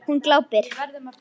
Hún glápir.